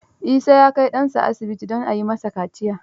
Isa ya kai ɗansa asibiti don a yi masa kaciya.